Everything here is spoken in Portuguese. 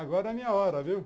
Agora é a minha hora, viu?